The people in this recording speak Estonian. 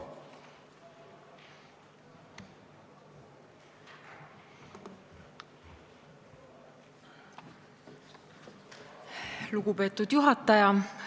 Lugupeetud juhataja!